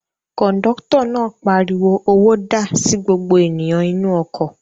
Kọ̀ńdọ́tọ̀ náà pariwo "owó dà" sí gbogbo ènìyàn inú ọkọ̀.